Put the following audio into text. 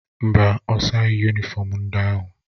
Mba, ọ saghị yunịfọm ndị ahụ.